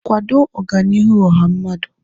kwado Ọganihu ọha mmadụ.